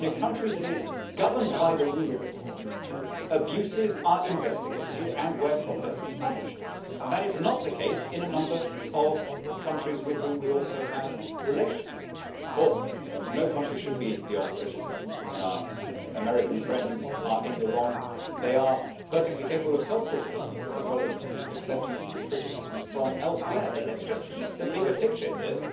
In a country that is governed by the rule of law, abuses are investigated and where proper punished, and that is not the case in a number of countries with which we also have relations. Of course no country should be beyond criticism and when our American friends are in the wrong they are perfectly capable of self criticism, as well as accepting criticisms from elsewhere, but let us just keep the bigger picture here.